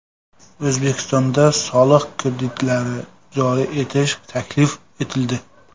O‘zbekistonda soliq kreditlari joriy etish taklif etildi.